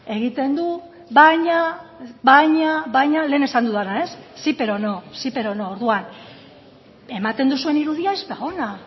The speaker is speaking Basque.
egiten du baina baina baina lehen esan dudana sí pero no sí pero no orduan ematen duzuen irudia ez da ona